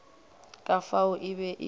ka fao e be e